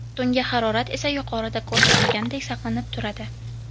Tungi harorat esa yuqorida ko‘rsatilgandek saqlanib turadi.